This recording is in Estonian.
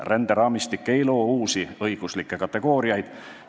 Ränderaamistik ei loo uusi õiguslikke kategooriaid.